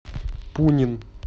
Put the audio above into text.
пунин